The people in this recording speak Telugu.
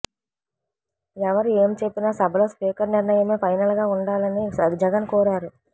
ఎవరు ఏమి చెప్పినా సభలో స్పీకర్ నిర్ణయమే ఫైనల్గా ఉండాలని జగన్ కోరారు